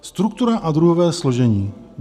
Struktura a druhové složení.